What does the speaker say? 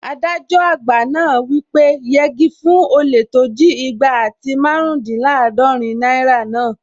Adájọ àgbà náà wí pé "yegi fún olè tó jí igba àti márùndínlàádọ́rin náírà náà!"